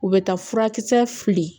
U bɛ taa furakisɛ fili